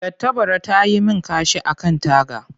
Tattabara ta yi min kashi a kan taga.